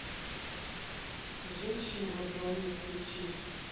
женщина во дворе включи